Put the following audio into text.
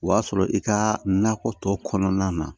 O y'a sɔrɔ i ka nakɔ kɔnɔna na